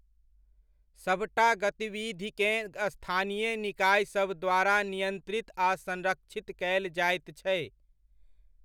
सभटा गतिविधिकेँ स्थानीय निकायसभ द्वारा नियंत्रित आ संरक्षित कयल जाइत छै।